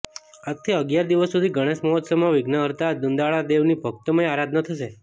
આજથી અગિયાર દિવસ સુધી ગણેશ મહોત્સવમાં વિઘ્નહર્તા દુંદાળાદેવની ભક્તિમય આરાધના થશે